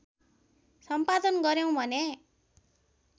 सम्पादन गर्‍यौँ भने